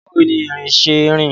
Báwo ni erin ṣe ń rìn?